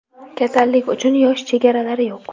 Kasallik uchun yosh chegalari yo‘q.